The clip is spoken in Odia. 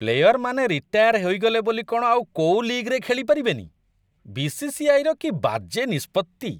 ପ୍ଲେୟରମାନେ ରିଟାୟାର ହେଇଗଲେ ବୋଲି କ'ଣ ଆଉ କୋଉ ଲିଗ୍‌ରେ ଖେଳିପାରିବେନି, ବି.ସି.ସି.ଆଇ. ର କି ବାଜେ ନିଷ୍ପତ୍ତି!